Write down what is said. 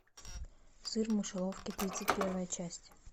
сыр в мышеловке тридцать первая часть